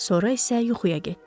Sonra isə yuxuya getdi.